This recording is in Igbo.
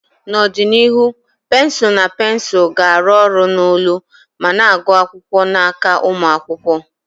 N'ọdịnihu, pensụl na pensụl ga-arụ ọrụ n'olu ma na-agụ akwụkwọ n'aka ụmụ akwụkwọ.